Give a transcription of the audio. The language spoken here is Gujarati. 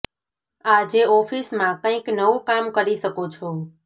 આજે ઓફીસ માં કંઇક નવું કામ કરી શકો છો